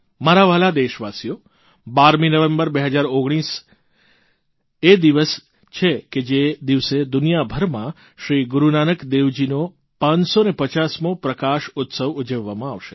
મારા વ્હાલા દેશવાસીઓ 12મી નવેંબર 2019 એ દિવસ છે જે દિવસે દુનિયાભરમાં શ્રી ગુરૂનાનક દેવજીનો 550મો પ્રકાશ ઉત્સવ ઉજવવામાં આવશે